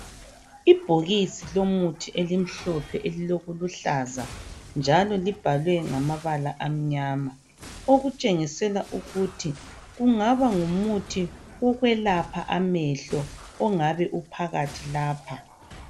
Ibhokisi lomuthi elimhlophe elilokuluhlaza njalo libhalwe ngamabala amnyama okutshengisela ukuthi kungaba ngumuthi wokwelapha amehlo ongabe ophakathi lapha.